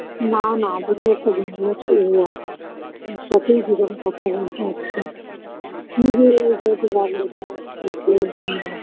না না আমাদের একটা বন্ধু আছে ও আস~ কথা বলছে আসছে তুমি ভালো হতো দেখা যাক কি হয়